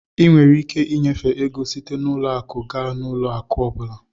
Ị nwere ike ịnyefe ego site n'ụlọ akụ gaa n'ụlọ akụ ọ bụla.